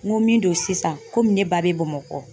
N ko min don sisan komi ne ba bɛ Bamakɔ